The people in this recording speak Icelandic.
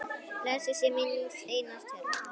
Blessuð sé minning Einars Tjörva.